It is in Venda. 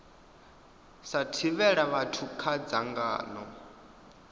sa thivhela vhathu kha dzangano